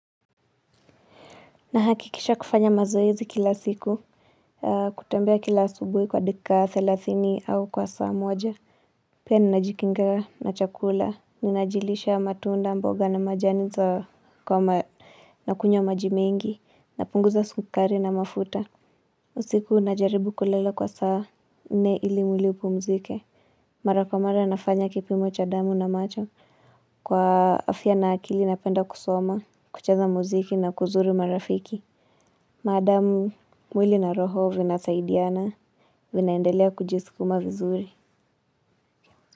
Nahakikisha kufanya mazoezi kila siku. Kutembea kila asubuhi kwa dakika thelathini au kwa saa moja. Pia ninajikinga na chakula ninajilisha matunda mboga na majani za kwa ma. Nakunywa maji mengi napunguza sukari na mafuta. Usiku najaribu kulala kwa saa nne ili mwili upumzike. Mara kwa mara nafanya kipimo cha damu na macho. Kwa afya na akili napenda kusoma kucheza muziki na kuzuru marafiki. Maadam, mwili na roho vinasaidiana, vinaendelea kujiskuma vizuri.